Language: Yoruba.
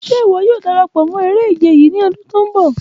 Ṣe iwọ yoo darapọ mọ yii ije ni ọla?